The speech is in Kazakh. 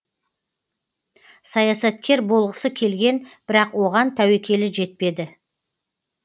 саясаткер болғысы келген бірақ оған тәуекелі жетпеді